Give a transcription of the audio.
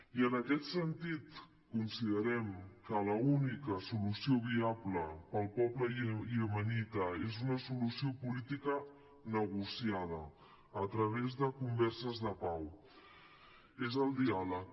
i en aquest sentit considerem que l’única solució viable per al poble iemenita és una solució política negociada a través de converses de pau és el diàleg